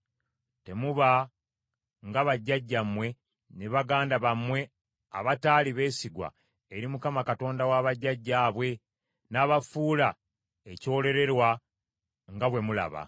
Temuba nga bajjajjammwe ne baganda bammwe abataali beesigwa eri Mukama Katonda wa bajjajjaabwe n’abafuula ekyelolerwa, nga bwe mulaba.